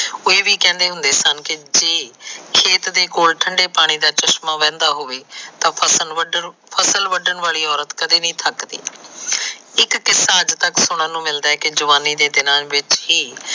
ਉਹ ਇਹ ਵੀ ਕਿਹਾ ਕਰਦੇ ਕਨ ਕ ਜੇ ਖੇਤ ਕੋਲ ਠੰਡੇ ਪਾਣੀ ਦਾ ਚਸ਼ਮਾ ਵਹਿੰਦਾ ਹੋਵੇ ਤਾ ਫਸਲ ਵੰਡਣ ਫਸਲ ਵੰਡਣ ਵਾਲੀ ਅੋਰਤ ਕਦੇ ਨੀ ਥੱਕਦੀ ਇੱਕ ਕਿਸਾ ਅੱਜ ਤੱਕ ਸੁਣਨ ਨੂੰ ਮਿਲਦਾ ਕਿ ਜਵਾਨੀ ਦੇ ਦਿਨਾ ਵਿੱਚ ਹੀ